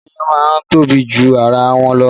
Odó iyán má ń tóbi ju ara wọn lọ